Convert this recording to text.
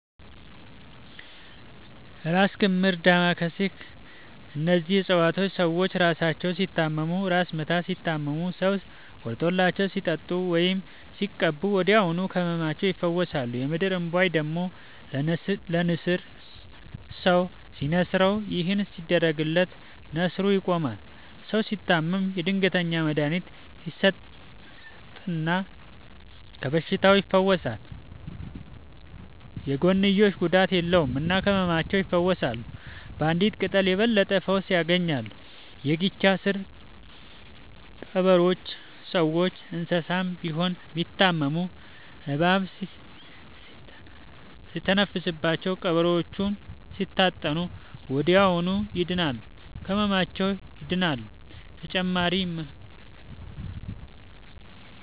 እራስ ክምር ዳማ ከሴ እነዚህ ፅፀዋቶች ሰዎች እራሳቸውን ሲታመሙ እራስ ምታት ሲታመሙ ሰው ቆርጦላቸው ሲጠጡት ወይም ሲቀቡ ወዲያውኑ ከህመማቸው ይፈወሳሉ። የምድር እንቧይ ደግሞ ለነሲር ሰው ሲንስረው ይህን ሲያደርግለት ነሲሩ ይቆማል። ሰው ሲታመም የድንገተኛ መድሀኒት ይሰጠል እና ከበሽታውም ይፈወሳል። የጎንዮሽ ጉዳት የለውም እና ከህመማቸው ይፈውሳሉ ባንዲት ቅጠል የበለጠ ፈውስ ያገኛሉ። የጊቻ ስር ቀበሮቾ ሰውም እንሰሳም ቢሆን ቢታመሙ እባብ ሲተነፍስባቸው ቀብሮቾውን ሲታጠኑ ወደዚያውኑ ይድናሉ። ከህመማቸው ይድናሉ…ተጨማሪ ይመልከቱ